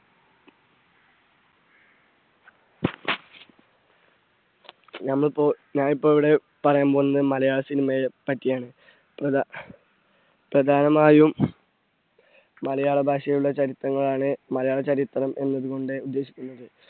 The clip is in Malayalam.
ഞാനിപ്പോ, ഞാനിപ്പോ ഇവിടെ പറയാൻ പോകുന്നത് മലയാള cinema യെ പറ്റി ആണ്. പ്രധാ, പ്രധാനമായും മലയാള ഭാഷയുടെ ചരിത്രങ്ങളാണ് മലയാള ചരിത്രം എന്നതുകൊണ്ട് ഉദ്ദേശിക്കുന്നത്.